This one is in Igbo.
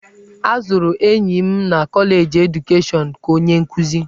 A zụrụ enyi m na kọleji edukeshọnụ ka onye nkuzi.